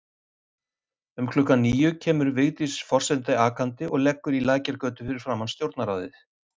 Um klukkan níu kemur Vigdís forseti akandi og leggur í Lækjargötu fyrir framan Stjórnarráðið.